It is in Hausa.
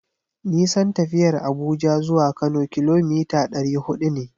Nisan tafiyar Abuja zuwa Kano kilomita ɗari huɗu ne.